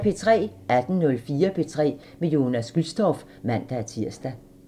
18:04: P3 med Jonas Gülstorff (man-tir)